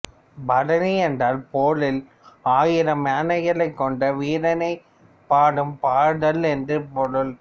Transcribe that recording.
பரணி என்றால் போரில் ஆயிரம் யானைகளைக் கொன்ற வீரனைப் பாடும் பாடல் என்று பொருள்